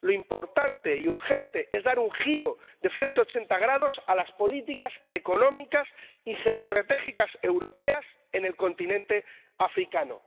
Lo importante y urgente es dar un giro de 180 grados a las políticas económicas y geoestratégicas europeas en el continente africano.